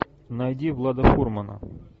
найди влада фурмана